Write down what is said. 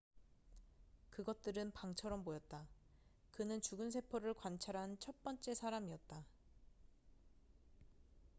그것들은 방처럼 보였다 그는 죽은 세포를 관찰한 첫 번째 사람이었다